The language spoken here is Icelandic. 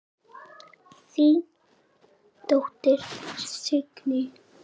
Þín dóttir, Signý.